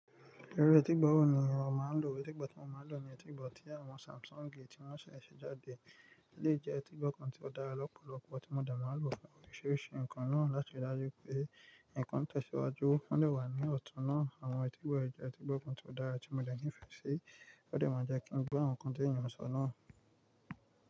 Ìru ẹ̀tì i gbọ̀ wọ́ ni o máa ń lò. Ẹ̀tì i gbọ̀ tí mo máa ń lò ni ẹ̀tì i gbọ̀ tí àwọn Samsung ti wọ́n ṣe ṣẹ́ jáde. Eleyi jẹ́ ẹ̀tì i gbọ̀ kan tí ó dára lọ́pọ̀lọpọ̀, tí mo de máa ń lò fún oríṣiríṣi nǹkan náà láti ri dájú pé nǹkan tẹ̀síwájú. Wọ́n dè wà ní ọ̀tún náà. Àwọn ẹ̀tì i gbọ̀ yẹn jẹ́ ẹ̀tì i gbọ̀ kan tí ó dára tí mo de nífẹ̀ẹ́ sí. O dẹ̀ máa jẹ́ kí ń gbó àwọn nǹkan tí èèyàn ń sọ náà.